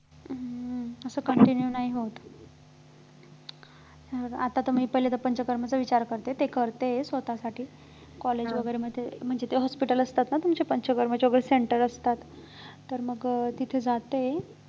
तसं continue नाही होत बरं आता मी पहिले पंचकर्मचा विचार करते ते करते स्वतःसाठी college वगैरे मध्ये म्हणजे ते hospital असतात ना तुमच्या पंचकर्माच्या वगैरे centers असतात तर मग तिथे जाते